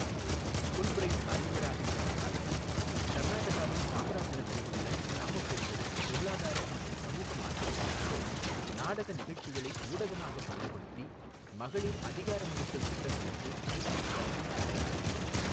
Fulbright அறிஞராக இருந்த காலத்தில், கர்நாடகாவின் சாம்ராஜ்நகரில் உள்ள கிராம பெண்களின் பொருளாதார மற்றும் சமூக மாற்றத்திற்காக நாடக நிகழ்ச்சிகளை ஊடகமாக பயன்படுத்தி மகளிர் அதிகாரமளித்தல் திட்டங்களுக்கு சேத்தன் தலைமை தாங்கினார்.